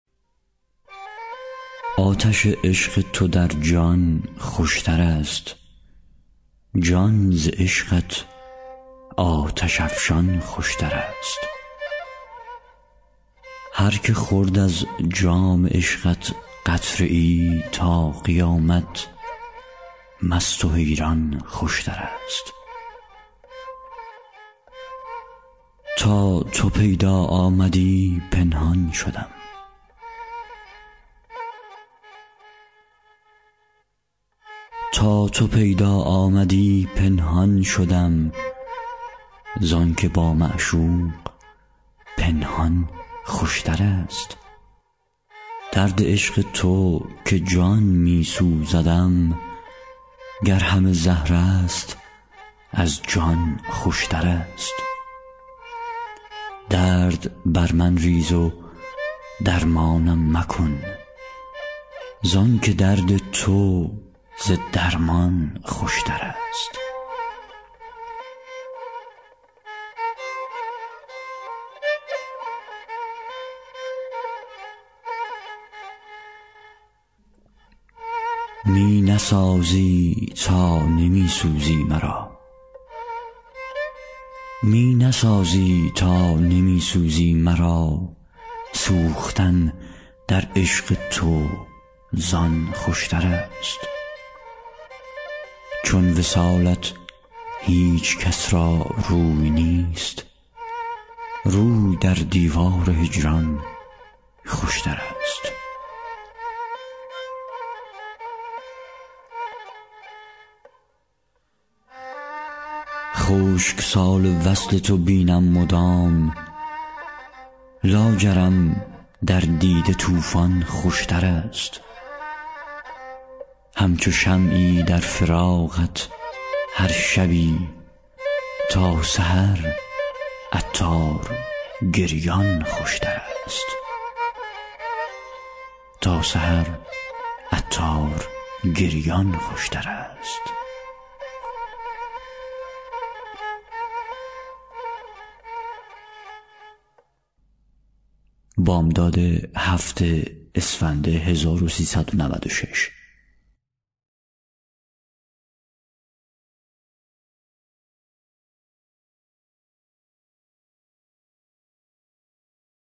آتش عشق تو در جان خوشتر است جان ز عشقت آتش افشان خوشتر است هر که خورد از جام عشقت قطره ای تا قیامت مست و حیران خوشتر است تا تو پیدا آمدی پنهان شدم زانکه با معشوق پنهان خوشتر است درد عشق تو که جان می سوزدم گر همه زهر است از جان خوشتر است درد بر من ریز و درمانم مکن زانکه درد تو ز درمان خوشتر است می نسازی تا نمی سوزی مرا سوختن در عشق تو زان خوشتر است چون وصالت هیچکس را روی نیست روی در دیوار هجران خوشتر است خشک سال وصل تو بینم مدام لاجرم در دیده طوفان خوشتر است همچو شمعی در فراقت هر شبی تا سحر عطار گریان خوشتر است